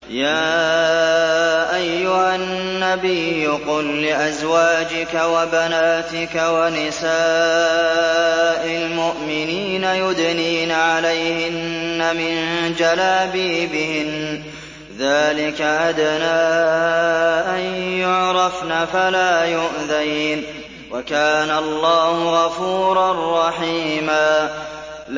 يَا أَيُّهَا النَّبِيُّ قُل لِّأَزْوَاجِكَ وَبَنَاتِكَ وَنِسَاءِ الْمُؤْمِنِينَ يُدْنِينَ عَلَيْهِنَّ مِن جَلَابِيبِهِنَّ ۚ ذَٰلِكَ أَدْنَىٰ أَن يُعْرَفْنَ فَلَا يُؤْذَيْنَ ۗ وَكَانَ اللَّهُ غَفُورًا رَّحِيمًا